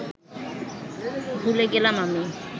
ভুলে গেলাম আমি